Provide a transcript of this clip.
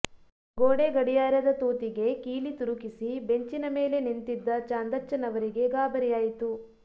ಗೋಡೆ ಗಡಿಯಾರದ ತೂತಿಗೆ ಕೀಲಿ ತುರುಕಿಸಿ ಬೆಂಚಿನ ಮೇಲೆ ನಿಂತಿದ್ದ ಚಾಂದಚ್ಚನವರಿಗೆ ಗಾಬರಿಯಾಯಿತು